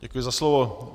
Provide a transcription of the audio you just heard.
Děkuji za slovo.